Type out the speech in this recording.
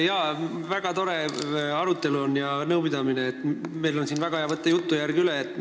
Jaa, see on siin väga tore arutelu ja nõupidamine, meil on väga hea jutujärg üle võtta.